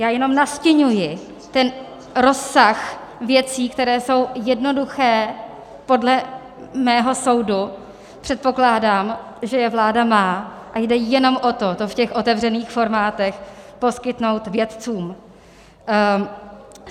Já jenom nastiňuji ten rozsah věcí, které jsou jednoduché podle mého soudu, předpokládám, že je vláda má, a jde jenom o to to v těch otevřených formátech poskytnout vědcům.